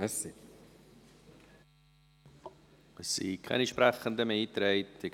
Es sind keine Sprechenden mehr eingetragen.